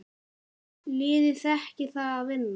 Liðið þekkir það að vinna.